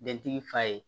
Dentigi fa ye